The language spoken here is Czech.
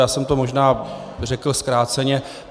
Já jsem to možná řekl zkráceně.